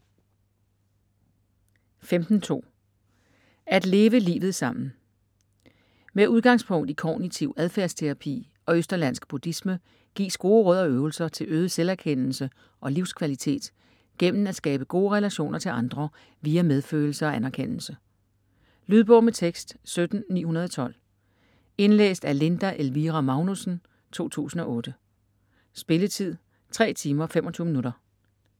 15.2 At leve livet sammen Med udgangspunkt i kognitiv adfærdsterapi og østerlandsk buddhisme gives gode råd og øvelser til øget selverkendelse og livskvalitet gennem at skabe gode relationer til andre via medfølelse og anerkendelse. Lydbog med tekst 17912 Indlæst af Linda Elvira Magnussen, 2008. Spilletid: 3 timer, 25 minutter.